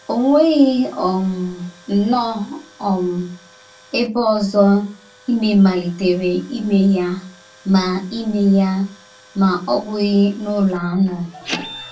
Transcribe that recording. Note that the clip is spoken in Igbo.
O nweghị um nnọọ um ebe ọzọ ịme malitere ime ya ma ime ya ma ọ́ bụghị n’ụlọ anụ.